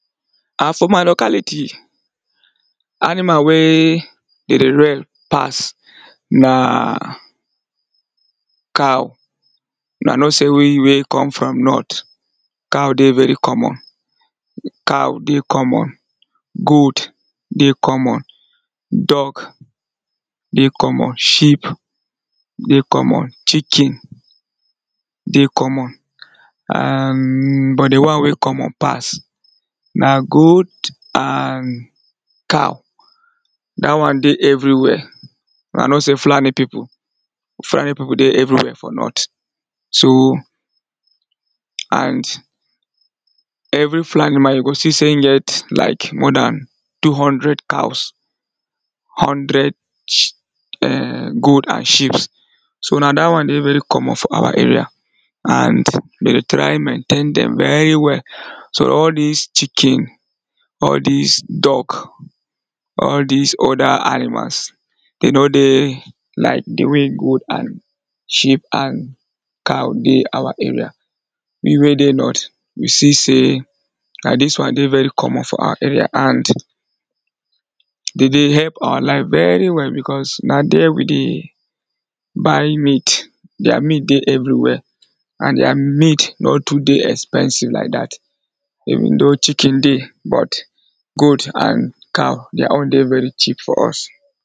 for my locality, animal wey de dey rear pass na cow u are not see we wey come from north, cow dey very common. cow dey common, goat dey common, dog dey common, sheep dey common, chicken dey common, am but di wan wey common pass na goat and cow da wan dey everywhere and i know sey fulani pipu fulani pipu dey everywhere for north so and every fulani man you go see sey in get like more dan two hundred cows hundred goat and sheeps so na da wan dey very common for my area snd de dey try maintain dem very well, so all dis chicken, all dis duck, all dis other animals, de no dey like di way goat and sheep and cow dey awa area. me wey dey north, you see sey na dis wan dey ver common for awa area and de dey help awa life very well bicos na there we dey buy meat their meat dey everywhere and their meat no too expensive like dat even though chicken dey but goat and cow their own dey very cheap for us.